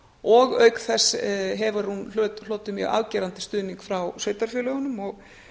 og auk þess hefur hún hlotið mjög afgerandi stuðning frá sveitarfélögunum og